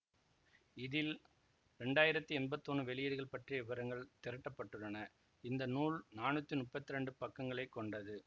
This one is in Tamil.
இதில் இரண்டாயிரத்தி எம்பத்தி ஒன்னு வெளியீடுகள் பற்றிய விபரங்கள் திரட்டப்பட்டுள்ளன இந்த நூல் நானூத்தி முப்பத்தி இரண்டு பக்கங்களை கொண்டது